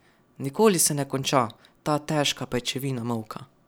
Nikoli se ne konča, ta težka pajčevina molka.